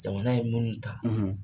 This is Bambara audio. Jamana ye minnu ta